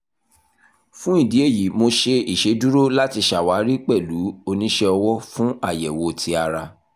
fun idi eyi mo ṣe iṣeduro lati ṣawari pẹlu onisẹ ọwọ fun ayẹwo ti ara